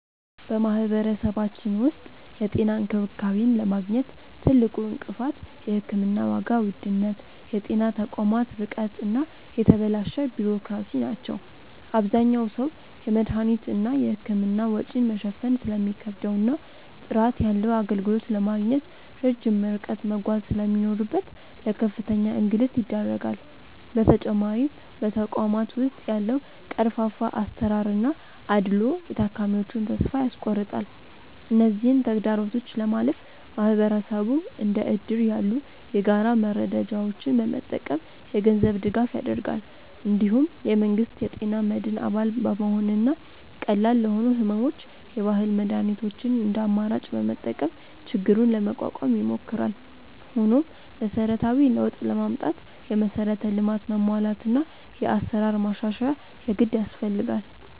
በማህበረሰባችን ውስጥ የጤና እንክብካቤን ለማግኘት ትልቁ እንቅፋት የሕክምና ዋጋ ውድነት፣ የጤና ተቋማት ርቀት እና የተበላሸ ቢሮክራሲ ናቸው። አብዛኛው ሰው የመድኃኒትና የሕክምና ወጪን መሸፈን ስለሚከብደውና ጥራት ያለው አገልግሎት ለማግኘት ረጅም ርቀት መጓዝ ስለሚኖርበት ለከፍተኛ እንግልት ይዳረጋል። በተጨማሪም በተቋማት ውስጥ ያለው ቀርፋፋ አሰራርና አድልዎ የታካሚዎችን ተስፋ ያስቆርጣል። እነዚህን ተግዳሮቶች ለማለፍ ማህበረሰቡ እንደ እድር ያሉ የጋራ መረዳጃዎችን በመጠቀም የገንዘብ ድጋፍ ያደርጋል። እንዲሁም የመንግስት የጤና መድን አባል በመሆንና ቀላል ለሆኑ ሕመሞች የባህል መድኃኒቶችን እንደ አማራጭ በመጠቀም ችግሩን ለመቋቋም ይሞክራል። ሆኖም መሰረታዊ ለውጥ ለማምጣት የመሠረተ ልማት መሟላትና የአሰራር ማሻሻያ የግድ ያስፈልጋል።